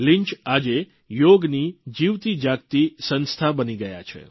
Lynch આજે યોગની જીવતી જાગતી સંસ્થા બની ગયા છે